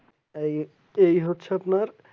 এই এই হচ্ছে আপনার